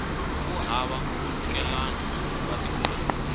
wu hava nkhulukelano wa timhaka